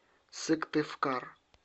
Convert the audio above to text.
сыктывкар